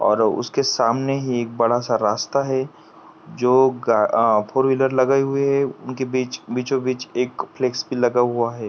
और उसके सामने ही एक बड़ा सा रास्ता है जो ग--अह फोर व्हीलर लगाई हुई है उनके बीच-- बीचों- बीच एक फ़्लेक्स भी लगा हुआ है।